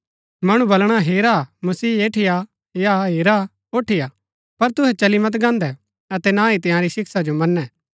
मणु वलणा हेरा मसीहा ऐठीआ या हेरा ओठीआ पर तुहै चली मत गान्दै अतै न ही तंयारी शिक्षा जो मनै